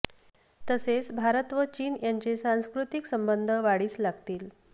तसेच भारत व चीन यांचे सांस्कृतिक संबंध वाढीस लागतील